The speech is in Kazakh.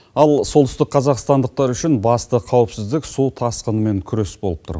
ал солтүстік қазақстандықтар үшін басты қауіпсіздік су тасқынымен күрес болып тұр